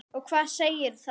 Og hvað segir það okkur?